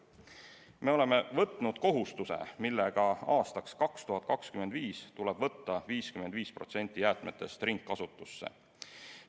Me oleme võtnud kohustuse, mille järgi aastaks 2025 tuleb võtta 55% jäätmetest ringkasutusse.